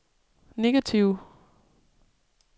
negative